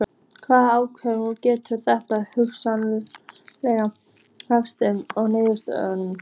Hvaða áhrif getur þetta hugsanlega haft á niðurstöðurnar?